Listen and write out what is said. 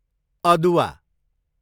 अदुवा